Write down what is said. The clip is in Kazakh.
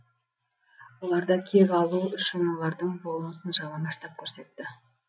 олардан кек алу үшін олардың болмысын жалаңаштап көрсетті